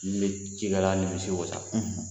N'i ye cikɛla ni misiw wasa